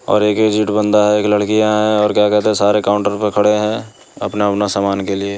-- सारे काउन्टर खड़े हैंअपना अपना सामन के लिए--